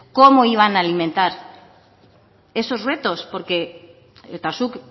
cómo iban a alimentar esos retos porque eta zuk